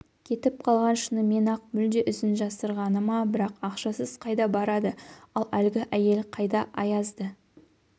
кетіп қалған шынымен-ақ мүлде ізін жасырғаны ма бірақ ақшасыз қайда барады ал әлгі әйел қайда аязды